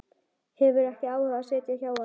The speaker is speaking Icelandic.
Hefur ekki áhuga á að sitja hjá honum.